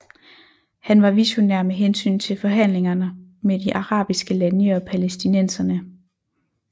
Han var visionær med hensyn til forhandlinger med de arabiske lande og palæstinenserne